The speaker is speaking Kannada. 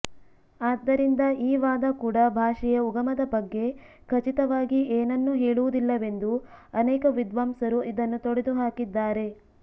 ಆದ್ದರಿಂದ ಈ ವಾದ ಕೂಡ ಭಾಷೆಯ ಉಗಮದ ಬಗ್ಗೆ ಖಚಿತವಾಗಿ ಏನನ್ನೂ ಹೇಳುವುದಿಲ್ಲವೆಂದು ಅನೇಕ ವಿದ್ವಾಂಸರು ಇದನ್ನು ತೊಡೆದುಹಾಕಿದ್ದಾರೆ